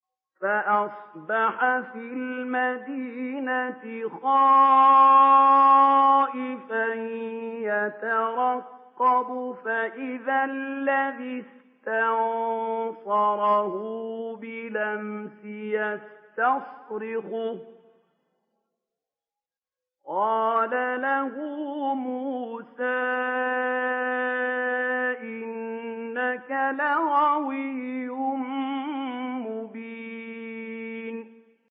فَأَصْبَحَ فِي الْمَدِينَةِ خَائِفًا يَتَرَقَّبُ فَإِذَا الَّذِي اسْتَنصَرَهُ بِالْأَمْسِ يَسْتَصْرِخُهُ ۚ قَالَ لَهُ مُوسَىٰ إِنَّكَ لَغَوِيٌّ مُّبِينٌ